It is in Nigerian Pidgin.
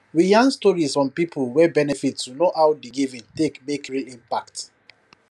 we yan stories from people wey benefit to know how di giving take make real impact